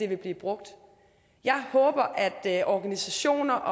vil blive brugt jeg håber at organisationer